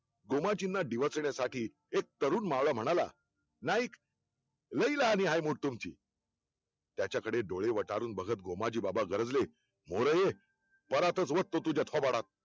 गोमाजींना डिवचण्यासाठी एक तरुण मावळा म्हणाला नाईक लई लहाने आहे मुठ तुमची, त्याच्याकडे डोळे वटारून बघत गोमाजीबाबा गरजले. म्होरं ये परातच वततो तुझ्या थोबाडात